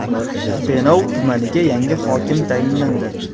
Denov tumaniga yangi hokim tayinlandi.